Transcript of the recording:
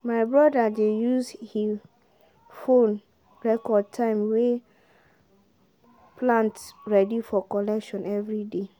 my brother dey use he phone record time way plant ready for collection everyday